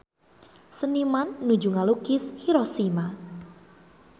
Seniman nuju ngalukis Hiroshima